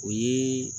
O ye